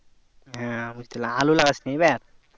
হ্যাঁ বুঝতে পারলাম আলু লাগাসনি এইবার